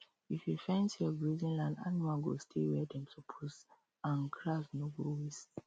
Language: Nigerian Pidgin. if you fence your grazing land animals go stay where dem suppose and grass no go waste